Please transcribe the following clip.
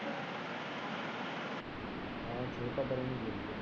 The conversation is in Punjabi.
ਹਾਂ ਛੋਟਾ ਪਰ।